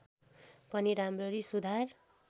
पनि राम्ररी सुधार